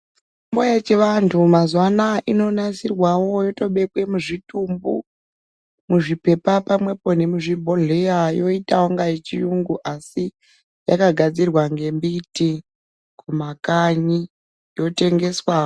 Mitombo yechianhu mazuwa ano inonasirwawo wotobekwe muzvitumbu muzvipepa pamwepo nemuzvibhohleya yoitawo kunga yechiyungu asi yakagadzirwa ngembiti kumakanyi yotengeswawo.